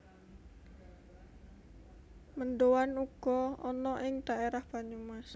Mendoan uga ana ing dhaerah Banyumas